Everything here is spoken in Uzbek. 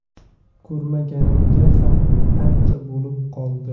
Ko‘rmaganimga ham ancha bo‘lib qoldi.